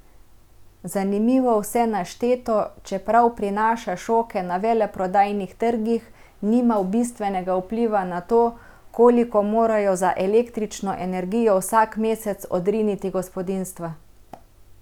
Zanimivo vse našteto, čeprav prinaša šoke na veleprodajnih trgih, nima bistvenega vpliva na to, koliko morajo za električno energijo vsak mesec odriniti gospodinjstva.